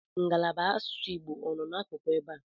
Ngalaba asụsụ Igbo ọ nọ n'akụkụ ebe a?